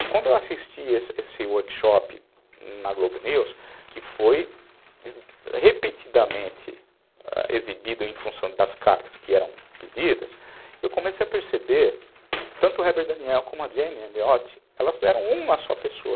E quando eu assisti esse esse workshop na Globo News, que foi repetidamente exibido em função das cartas que eram pedidas, eu comecei a perceber que tanto o Hebert Daniel como a Jane Elliot, elas eram uma só pessoa.